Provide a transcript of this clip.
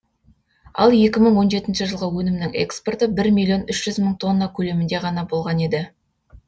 ал екі мың он жетінші жылғы өнімнің экспорты бір миллион үш жүз мың тонна көлемінде ғана болған еді